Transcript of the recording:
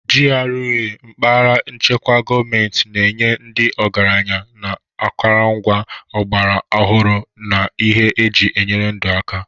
GRAs (Mpaghara echekwara gọọmentị) na-enye ndị ọgaranya na akụrụngwa ọgbara ọhụrụ na ihe eji enyere ndụ aka.